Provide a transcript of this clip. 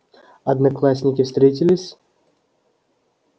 одноклассники встретились